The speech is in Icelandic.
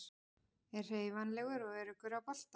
Er hreyfanlegur og öruggur á boltanum.